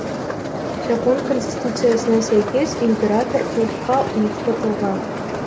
жапон конституциясына сәйкес император ұлтқа ұйытқы тұлға